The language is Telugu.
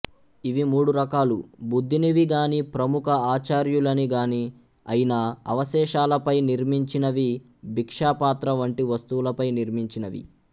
ఇవి మూడు రకాలు బుద్ధునివి గాని ప్రముఖ ఆచార్యులని గాని అయిన అవశేషాలపై నిర్మించినవి భిక్షాపాత్ర వంటి వస్తువులపై నిర్మించినవి